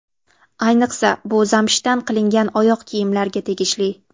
Ayniqsa bu zamshdan qilingan oyoq kiyimlarga tegishli.